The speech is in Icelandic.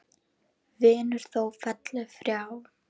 Vinur þó félli frá.